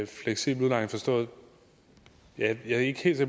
fleksibel udlejning jeg er ikke helt